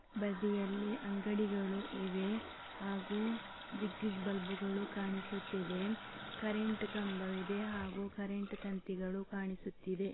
ಬದಿಯಲ್ಲಿ ಅಂಗಡಿಗಳು ಇವೆ ಹಾಗೂ ಜಿಗ್‌ ಜಿಗ್ ಬಲ್ಬ್‌ಗಳು ಕಾಣಿಸ್ತಾ ಇವೆ ಕರೆಂಟು ಕಂಬವಿದೆ ಹಾಗೂ ಕರೆಂಟು ತಂತಿಗಳು ಕಾಣಿಸುತ್ತಿದೆ.